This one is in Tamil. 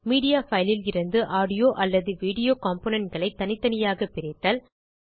மீடியா பைல் லிருந்து ஆடியோ அல்லது வீடியோ componentகளை தனித்தனியாக பிரித்தல்